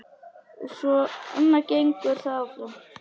Og svona gengur það áfram.